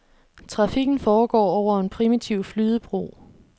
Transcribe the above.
Trafikken foregår over en primitiv flydebro.